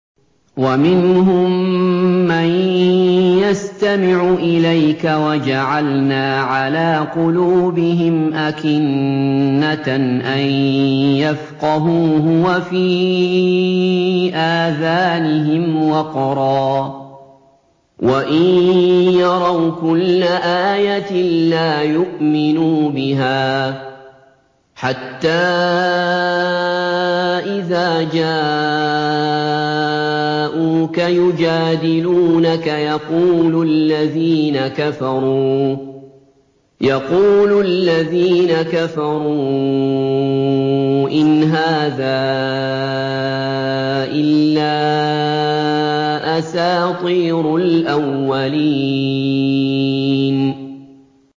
وَمِنْهُم مَّن يَسْتَمِعُ إِلَيْكَ ۖ وَجَعَلْنَا عَلَىٰ قُلُوبِهِمْ أَكِنَّةً أَن يَفْقَهُوهُ وَفِي آذَانِهِمْ وَقْرًا ۚ وَإِن يَرَوْا كُلَّ آيَةٍ لَّا يُؤْمِنُوا بِهَا ۚ حَتَّىٰ إِذَا جَاءُوكَ يُجَادِلُونَكَ يَقُولُ الَّذِينَ كَفَرُوا إِنْ هَٰذَا إِلَّا أَسَاطِيرُ الْأَوَّلِينَ